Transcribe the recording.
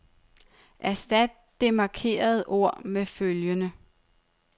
Erstat det markerede ord med følgende.